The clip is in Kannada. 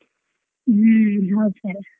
ಹ್ಮ್ ಹೌದ sir .